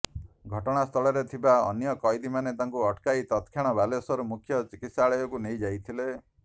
ଘଟଣାସ୍ଥଳରେ ଥିବା ଅନ୍ୟ କଏଦୀମାନେ ତାଙ୍କୁ ଅଟକାଇ ତତକ୍ଷଣାତ୍ ବାଲେଶ୍ୱର ମୁଖ୍ୟ ଚିକିତ୍ସାଳୟକୁ ନେଇ ଯାଇଥିଲେ